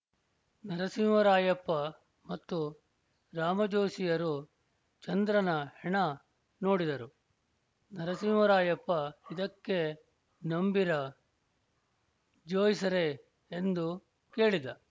ನರಸಿಂಹರಾಯಪ್ಪ ಮತ್ತು ರಾಮಾಜೋಯಿಸರು ಚಂದ್ರನ ಹೆಣ ನೋಡಿದರು ನರಸಿಂಹರಾಯಪ್ಪ ಇದಕ್ಕೇ ನಂಬೀರ ಜೋಯಿಸ್ರೆ ಎಂದು ಕೇಳಿದ